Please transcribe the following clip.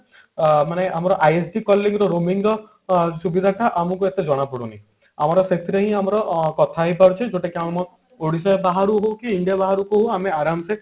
ଅ ମାନେ ଆମର ISD calling ରେ roaming ର ସୁବିଧା ଟା ଆମକୁ ଏତେ ଜଣା ପଡୁନି ଆମର ସେଥିରେ ହିଁ ଆମର କଥା ହେଇ ପାରୁଛେ ଯୋଉଟା କି ଆମ ଓଡିଶା ବାହାରକୁ ହଉ କି India ବାହାରକୁ ହଉ ଆମେ ଆରମ ସେ